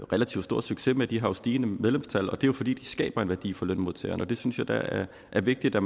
relativt stor succes med de har stigende medlemstal og det er jo fordi de skaber en værdi for lønmodtageren og det synes jeg da er vigtigt og